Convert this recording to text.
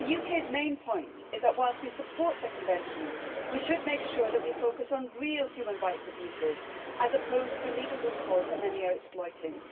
The UK's main point is that, whilst we support the Convention, we should make sure that we focus on real human rights abuses, as opposed to legal loopholes that many are exploiting.